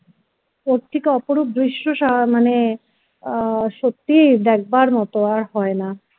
ওর থেকে অপরূপ দৃশ্য মানে সত্যি দেখবার মতো আর হয় না